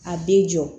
A bɛ jɔ